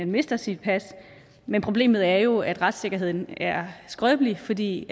mister sit pas men problemet er jo at retssikkerheden er skrøbelig fordi